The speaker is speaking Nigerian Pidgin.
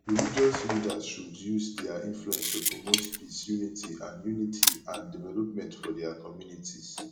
religious leaders should use dia influence to promote peace unity and unity and development for dia communities